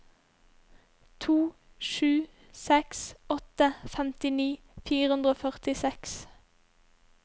to sju seks åtte femtini fire hundre og førtiseks